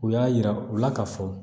U y'a yira u la ka fɔ